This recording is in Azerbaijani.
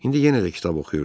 İndi yenə də kitab oxuyurdu.